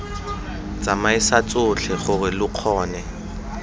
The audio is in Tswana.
tsamaisa tsotlhe gore lo kgone